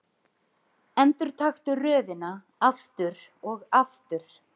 Endurtaktu röðina aftur og aftur.